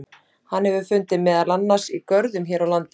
Hann hefur fundist meðal annars í görðum hér á landi.